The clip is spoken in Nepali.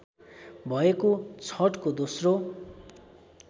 भएको छठको दोस्रो